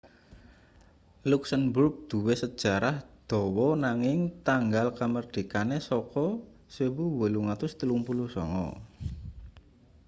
luksemburg duwe sejarah dawa nanging tanggal kamardikane saka 1839